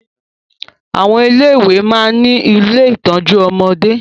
Àwọn ilé ìwé máa ń ní ilé ìtọ́jú ọmọdé